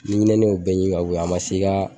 Ni ɲinɛni y'o bɛɛ ɲimi ka bɔ yen a ma se i ka